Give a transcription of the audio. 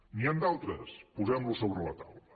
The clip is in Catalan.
n’hi han d’altres posem los sobre la taula